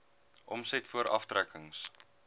omset voor aftrekkings